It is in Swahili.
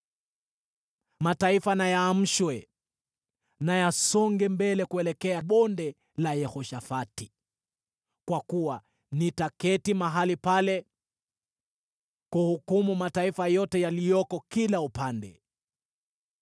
“Mataifa na yaamshwe; na yasonge mbele kuelekea Bonde la Yehoshafati, kwa kuwa nitaketi mahali pale kuhukumu mataifa yote yaliyoko kila upande.